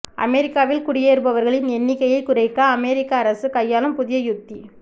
அமெரிக்காவில் குடியேறுபவர்களின் எண்ணிக்கையை குறைக்க அமெரிக்க அரசு கையாளும் புதிய யுத்தி